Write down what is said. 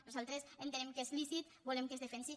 nosaltres entenem que és lícit volem que es defensi